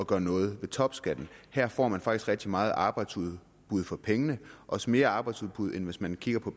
gøre noget ved topskatten her får man faktisk rigtig meget arbejdsudbud for pengene også mere arbejdsudbud end hvis man kiggede på